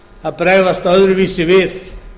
að bregðast öðruvísi við